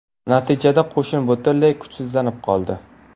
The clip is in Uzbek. Natijada qo‘shin butunlay kuchsizlanib qoldi.